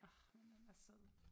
Årh men den er sød